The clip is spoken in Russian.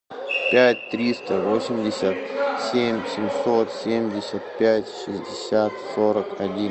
пять триста восемьдесят семь семьсот семьдесят пять шестьдесят сорок один